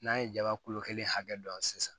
N'an ye jaba kulo kelen hakɛ dɔn sisan